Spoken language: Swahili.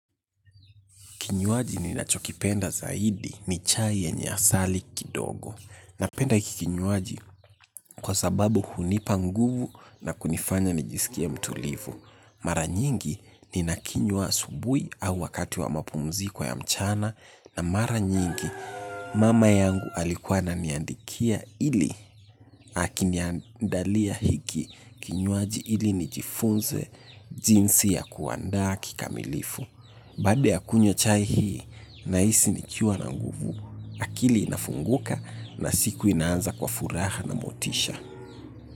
Kinywaji ni nachokipenda zaidi ni chai yenye asali kidogo. Napenda hiki kinywaji kwa sababu hunipa nguvu na kunifanya nijisikie mtulivu. Mara nyingi ni nakinyuwa asubuhi au wakati wa mapumziko ya mchana na mara nyingi mama yangu alikuwa ananiandikia ili akiniandalia hiki. Kinywaji ili ni jifunze jinsi ya kuandaa kikamilifu. Baada ya kunywa chai hii, nahisi nikiwa na nguvu. Akili inafunguka na siku inaanza kwa furaha na motisha.